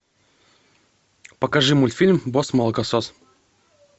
покажи мультфильм босс молокосос